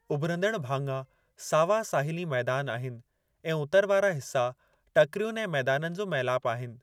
उभिरंदड़ भाङा सावा साहिली मैदान आहिनि ऐं उतर वारा हिस्सा टकिरियुनि ऐं मैदाननि जो मेलापु आहिनि।